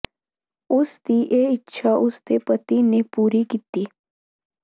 ਉਸ ਦੀ ਇਹ ਇੱਛਾ ਉਸ ਦੇ ਪਤੀ ਨੇ ਪੂਰੀ ਕੀਤੀ